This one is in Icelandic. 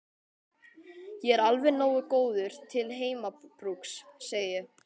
Ég er alveg nógu góður til heimabrúks, segi ég.